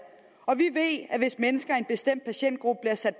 og vi ved at hvis mennesker i en bestemt patientgruppe bliver sat